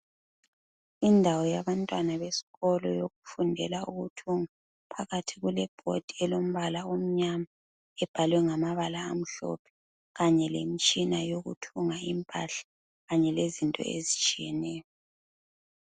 Indawo yabantwana besikolo yokufundela ukuthunga phakathi kuleboard emnyama ebhalwe ngamabala amhlophe kanye lemitshina yokuthunga impahla kanye lezinto ezitshiyeneyo.